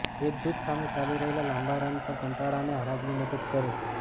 એક જૂથ સાથે ચાલી રહેલ લાંબા રન પર કંટાળાને હરાવ્યું મદદ કરે છે